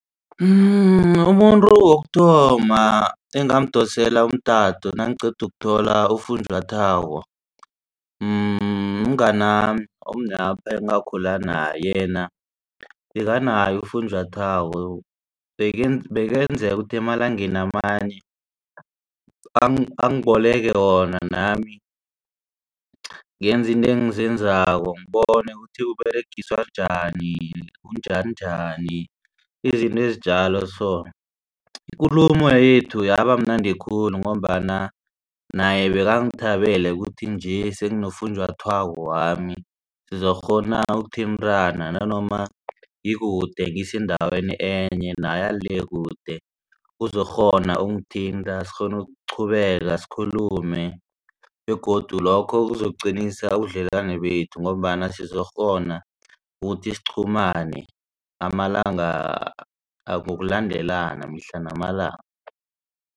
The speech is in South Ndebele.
Umuntu wokuthoma engamdosela umtato nangiqeda ukuthola ufunjathwako mngani omunyapha engakhula naye yena bekanaye ufunjathwako bekenzeka ukuthi emalangeni amanye angiboleke wona nami ngenze izinto engizenzako ngibona ukuthi uberegiswa njani unjaninjani izinto ezinjalo so. Ikulumo yethu yabamnandi khulu ngombana naye bekangithabele ukuthi nje senginofunjathwako wami sizokghona ukuthintana nanoma ngikude ngisendaweni enye naye ale akude uzokukghona ukungithinta sikghone ukuqhubeka sikhulume begodu lokho kuzokuqinisa ubudlelwane bethu ngombana sizokukghona ukuthi siqhumane amalanga ngokulandelana mihla namalanga.